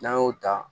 N'an y'o ta